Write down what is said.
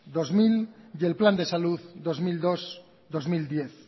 dos mil y el plan de salud dos mil dos dos mil diez